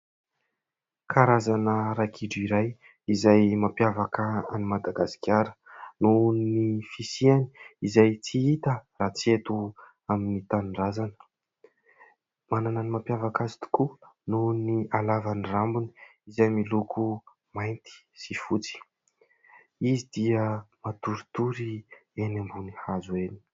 Karazana ragidro iray izay mampiavaka an'i Madagasikara noho ny fisiany izay tsy hita raha tsy eto amin'ny tanindrazana. Manana ny mampiavaka azy tokoa noho ny alavan'ny rambony izay miloko mainty sy fotsy. Izy dia matoritory eny ambony hazo eny.